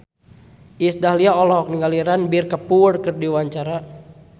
Iis Dahlia olohok ningali Ranbir Kapoor keur diwawancara